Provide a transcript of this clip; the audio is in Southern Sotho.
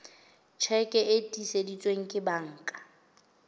tjheke e tiiseditsweng ke banka